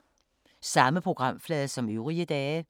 Samme programflade som øvrige dage